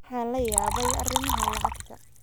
Waxaan la yaabay arrimaha lacagta